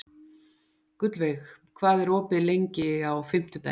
Gullveig, hvað er opið lengi á fimmtudaginn?